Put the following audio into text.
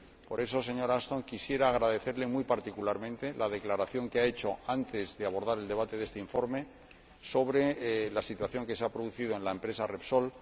Por eso, señora Ashton, quisiera agradecerle muy particularmente la declaración que ha hecho antes de abordar el debate de este informe sobre la situación que se ha producido en la empresa Repsol.